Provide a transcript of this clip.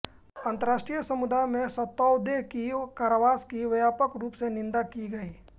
अंतरराष्ट्रीय समुदाय में सोतौदेह की कारावास की व्यापक रूप से निंदा की गई